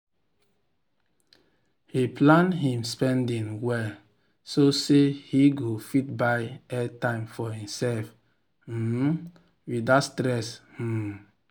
he plan him spending well so say he go fit buy airtime for himself um without stress. um